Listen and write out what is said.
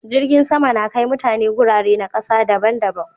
Jirgin sama da Kai mutane gurare na ƙasa daban